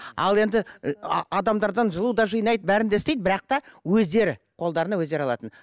ал енді ы адамдардан жылу да жинайды бәрін де істейді бірақ та өздері қолдарына өздері алатын